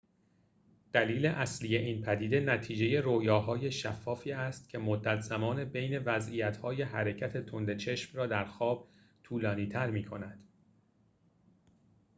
دلیل اصلی این پدیده نتیجه رویاهای شفافی است که مدت زمان بین وضعیت‌های حرکت تند چشم را در خواب طولانی‌تر می‌کند